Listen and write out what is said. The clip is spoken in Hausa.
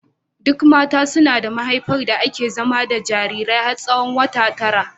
Duk mata suna da mahaifar da ake nufi da zama jarirai har tsawon wata tara.